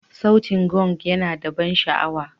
Sautin Gong yana da ban sha'awa.